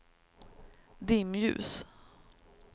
dimljus